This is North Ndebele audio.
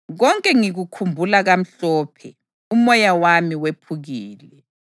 Konke ngikukhumbula kamhlophe, umoya wami wephukile.